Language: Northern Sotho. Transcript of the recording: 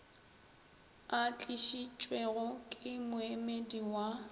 a tlišitšwego ke moemedi wa